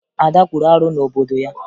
Ada kwuru arụ n'obodo ya